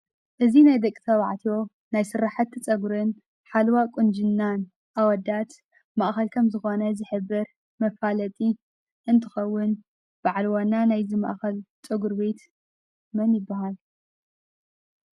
እዚ ናይ ደቂ ተበዕትዮ ናይ ስራሕቲ ጨጉርን ሓለዋ ቁንጅና ኣውዳት ማእኸል ከም ዝኾን ዝሕብር መፈለጢ እንትኸውን በዓል ዋና ናይ እዚ ማእኸል ጨጉር ቤት መን ይብሃል ?